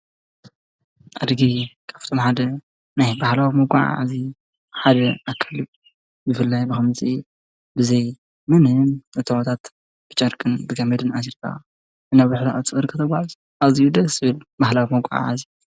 ኣድጊ ካብቶም ሓደ ናይ ባህላዊ መጕዓ እዙይ ሓደ ኣከልብ ብፍልላይ ብኸምፂ ብዘይ ምንን እታወታት ብጫርቅን ብጋመድን ኣዙርካ እነብኅሎ ፅእር ከተጓዝ እዚይደ ስብል ባህላዊ መጕዓ ::